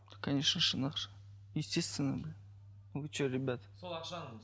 конечно шын ақша естественно вы что ребята